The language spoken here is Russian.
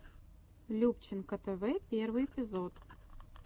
любченко тэвэ первый эпизод